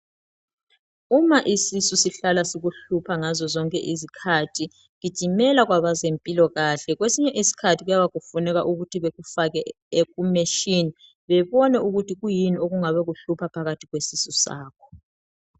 Uma isisu sihlahla sikuhlupha ngazo zonke izikhathi, gijimela kwabazempilokahle. Kwesinye iskhathi kuyaba kufuneka ukuthi bekufake kumeshin bebone ukuthi kuyini okungabe kuhlupha phakathi kwesisu sakho.